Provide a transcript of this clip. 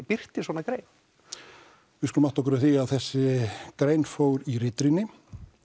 birtir svona grein við skulum átta okkur á því að þessi grein fór í ritrýni